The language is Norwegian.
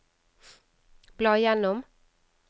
bla gjennom